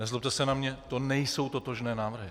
Nezlobte se na mě, to nejsou totožné návrhy!